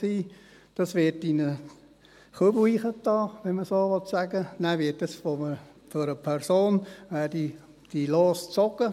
Die Lose werden dann in einen Eimer gelegt, wenn man das so sagen will, und danach werden diese Lose von einer Person gezogen.